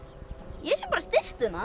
ég sé bara styttuna